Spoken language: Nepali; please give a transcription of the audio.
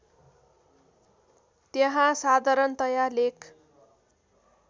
त्यहाँ साधारणतया लेख